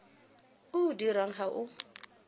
o o dirwang ga o